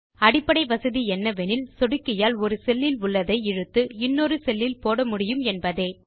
அடிப்படை வசதி என்னவெனில் சொடுக்கியால் ஒரு செல்லில் உள்ளதை இழுத்து இன்னொரு செல்லில் போட முடியும் என்பதே